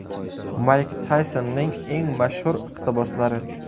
Mayk Taysonning eng mashhur iqtiboslari.